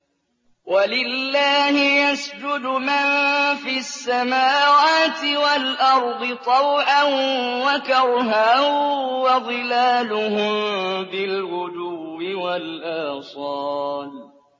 وَلِلَّهِ يَسْجُدُ مَن فِي السَّمَاوَاتِ وَالْأَرْضِ طَوْعًا وَكَرْهًا وَظِلَالُهُم بِالْغُدُوِّ وَالْآصَالِ ۩